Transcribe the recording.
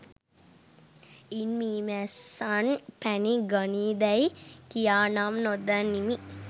ඉන් මී මැස්සන් පැණි ගනීදැයි කියානම් නොදනිමි